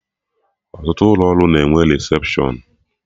Ọtụtụ ụlọ ọrụ na enwe resepshọn